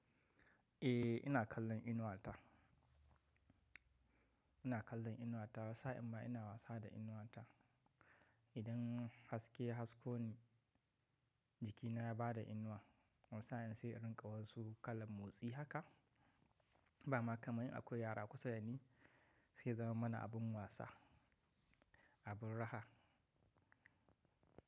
Eh ina kallon inuwa ta. Ina kallon inuwa ta, wata sa in ma ina wasa da inuwa ta. Idan haske ya hasko ni, jikina ya bada inuwa, wani sa, in sai in riƙa wasu kalan motsi haka. Ba ma kamar in akwai yara kusa da ni, sai ya zama mana abin wasa, abin raha.